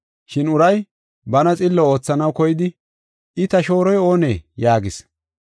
Shin uray bana xillo oothanaw koyidi, “I ta shooroy oonee?” yaagis.